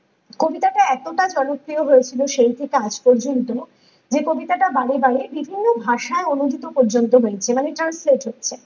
কবিতাটা এতটা জনপ্রিয়য় হয়েছিল সেই থেকে আজ পর্যন্ত যে কবিতাটা বারে বারে বিভিন্ন ভাষায় অনুভৃত পর্যন্ত হয়েছিল আমি ।